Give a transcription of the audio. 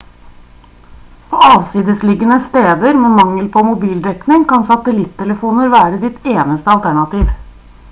på avsidesliggende steder med mangel på mobildekning kan satellittelefoner være ditt eneste alternativ